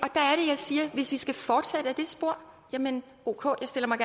siger hvis vi skal fortsætte ad det spor jamen ok jeg stiller mig